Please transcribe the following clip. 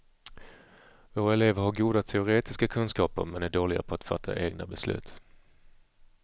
Våra elever har goda teoretiska kunskaper, men är dåliga på att fatta egna beslut.